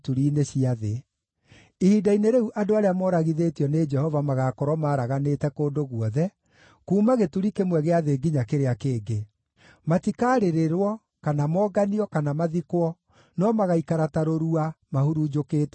Ihinda-inĩ rĩu andũ arĩa mooragithĩtio nĩ Jehova magaakorwo maaraganĩte kũndũ guothe, kuuma gĩturi kĩmwe gĩa thĩ nginya kĩrĩa kĩngĩ. Matikarĩrĩrwo, kana monganio, kana mathikwo, no magaaikara ta rũrua, mahurunjũkĩte thĩ.